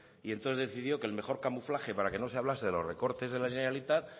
y entonces decidió que el mejor camuflaje para que no se hablase de los recortes de la generalitat